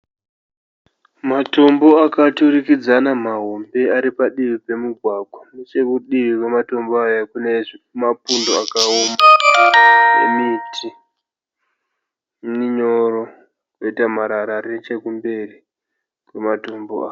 Matombo akaturikidzana mahombe ari padivi pemugwagwa. Nechekudivi kwematombo aya kune mapundo akaoma nemiti minyoro kwoita marara ari nechokumberi kwematombo aya.